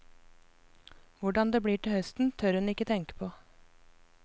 Hvordan det blir til høsten tør hun ikke tenke på.